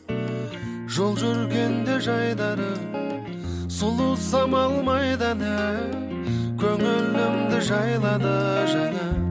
жол жүргенде жайдары сұлу самал майданы көңілімді жайлады жаңа